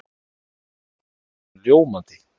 Það opnar pakkana ljómandi.